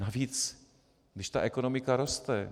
Navíc když ta ekonomika roste.